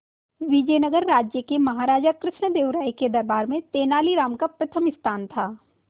विजयनगर राज्य के महाराजा कृष्णदेव राय के दरबार में तेनालीराम का प्रथम स्थान था